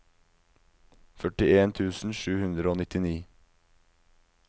førtien tusen sju hundre og nittini